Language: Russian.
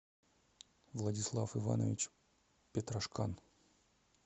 владислав иванович петрашкан